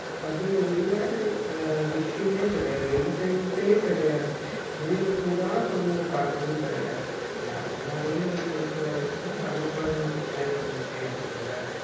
அதுல இல்லாத அஹ் விஷயமே கிடையாது entertainment ஏ கிடையாது வெளியில போயி தான் குழந்தைங்க பார்க்கணும்னு கிடையாது ஆனா அது மாதிரியே நம்ம குடுத்து வளர்ந்துட்டோம்னா நம்ம குழந்தைகளுக்கு பின்னாடி பிரச்சனையா இருக்குமில்ல